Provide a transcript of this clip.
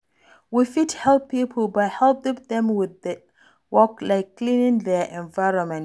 We fit help pipo by helping them with work like cleaning their environment